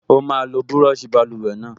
Ó máa lo búrọ̀ṣì báluwẹ̀ náà